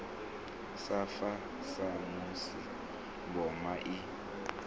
sa fa samusi mboma i